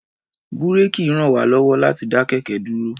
Búréèkì ràn wá lọ́wọ́ láti dá kẹ̀kẹ́ dúró.